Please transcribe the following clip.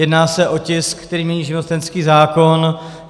Jedná se o tisk, který mění živnostenský zákon.